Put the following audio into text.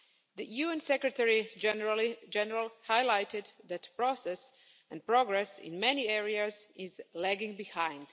The UN Secretary General highlighted that process and progress in many areas is lagging behind.